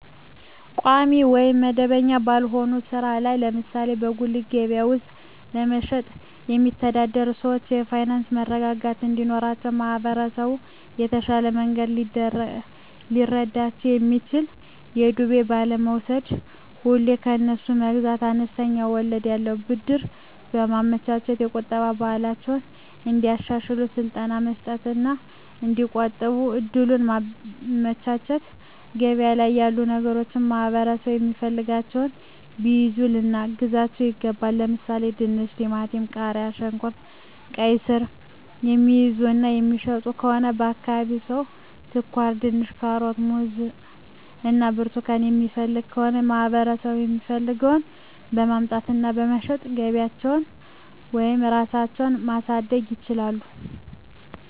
ቋሚ ወይም መደበኛ ባልሆነ ሥራ ላይ ለምሳሌ በጉሊት ገበያ ውስጥ በመሸጥየሚተዳደሩ ሰዎች የፋይናንስ መረጋጋት እንዲኖራቸው ማህበረሰቡ በተሻለ መንገድ ሊረዳቸው የሚችለው በዱቤ ባለመውስድ፤ ሁሌ ከነሱ መግዛት፤ አነስተኛ ወለድ ያለው ብድር በማመቻቸት፤ የቁጠባ ባህላቸውን እንዲያሻሽሉ ስልጠና መስጠት እና እዲቆጥቡ እድሉን ማመቻቸት፤ ገበያ ላይ ያሉ ነገሮችን ማህበረሠቡ የሚፈልገውን ቢይዙ ልናግዛቸው ይገባል። ለምሣሌ፦፤ ድንች፤ ቲማቲም፤ ቃሪያ፣ ሽንኩርት፤ ቃይስር፤ የሚይዙ እና የሚሸጡ ከሆነ የአካባቢው ሠው ስኳርድንች፤ ካሮት፤ ሙዝ እና ብርቱካን የሚፈልግ ከሆነ ለማህበረሰቡ የሚፈልገውን በማምጣት እና በመሸጥ ገቢያቸውን ወይም ራሳቸው ማሣደግ ይችላሉ።